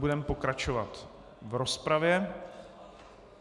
Budeme pokračovat v rozpravě.